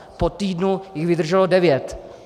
Po týdnu jich vydrželo devět.